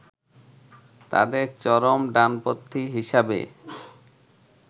তাদের চরম ডানপন্থী হিসেবে